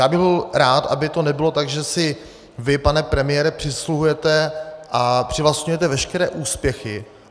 Já bych byl rád, aby to nebylo tak, že si vy, pane premiére, přisvojujete a přivlastňujete veškeré úspěchy.